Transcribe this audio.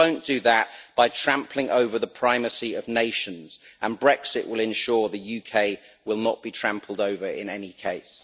You won't do that by trampling over the primacy of nations, and Brexit will ensure the UK will not be trampled over in any case.